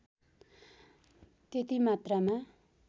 त्यति मात्रामा